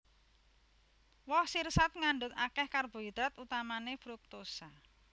Woh sirsat ngandhut akèh karbohidrat utamané fruktosa